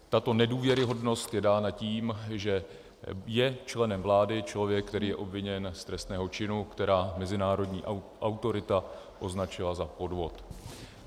Tato nedůvěryhodnost je dána tím, že je členem vlády člověk, který je obviněn z trestného činu, který mezinárodní autorita označila za podvod.